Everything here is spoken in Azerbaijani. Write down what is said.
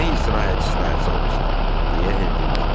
Nə istirahət, istirahət salmısan, deyə Hel dilləndi.